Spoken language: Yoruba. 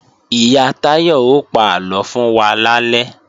Ìyá Táyọ ó pa àlọ fún wa lálẹ́